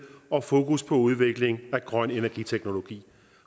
og fokus på udvikling af grøn energiteknologi